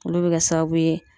Olu bɛ kɛ sababu ye